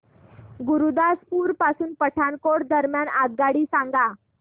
गुरुदासपुर पासून पठाणकोट दरम्यान आगगाडी सांगा